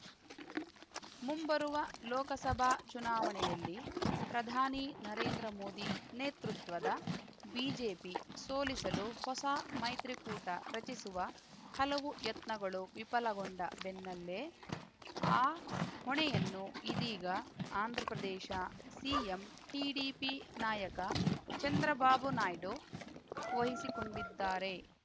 ಮುಂಬರುವ ಲೋಕಸಭಾ ಚುನಾವಣೆಯಲ್ಲಿ ಪ್ರಧಾನಿ ನರೇಂದ್ರ ಮೋದಿ ನೇತೃತ್ವದ ಬಿಜೆಪಿ ಸೋಲಿಸಲು ಹೊಸ ಮೈತ್ರಿಕೂಟ ರಚಿಸುವ ಹಲವು ಯತ್ನಗಳು ವಿಫಲಗೊಂಡ ಬೆನ್ನಲ್ಲೇ ಆ ಹೊಣೆಯನ್ನು ಇದೀಗ ಆಂಧ್ರಪ್ರದೇಶ ಸಿಎಂ ಟಿಡಿಪಿ ನಾಯಕ ಚಂದ್ರಬಾಬು ನಾಯ್ಡು ವಹಿಸಿಕೊಂಡಿದ್ದಾರೆ